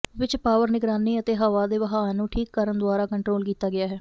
ਵਿੱਚ ਪਾਵਰ ਨਿਗਰਾਨੀ ਅਤੇ ਹਵਾ ਦੇ ਵਹਾਅ ਨੂੰ ਠੀਕ ਕਰਨ ਦੁਆਰਾ ਕੰਟਰੋਲ ਕੀਤਾ ਗਿਆ ਹੈ